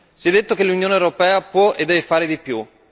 Si è detto che l'Unione europea può e deve fare di più.